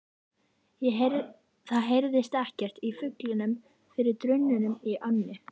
Það heyrðist ekkert í fuglunum fyrir drununum í ánni.